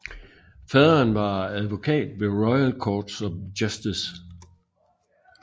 Faderen var advokat ved Royal Courts of Justice